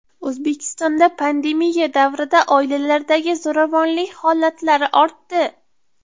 O‘zbekistonda pandemiya davrida oilalardagi zo‘ravonlik holatlari ortdi.